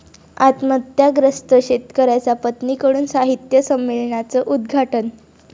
आत्महत्याग्रस्त शेतकऱ्याच्या पत्नीकडून साहित्य संमेलनाचं उद्घाटन?